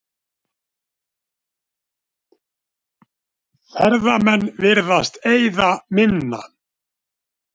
Ferðamenn virðast eyða minna